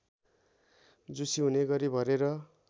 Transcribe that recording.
झुसी हुनेगरी भरेर